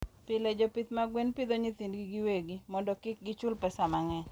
Pile, jopith mag gwen pidho nyithindgi giwegi mondo kik gichul pesa mang'eny.